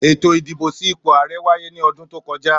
Ètò ìdìbò sí ipò ààrẹ wáyé ní ọdún tó kọjá.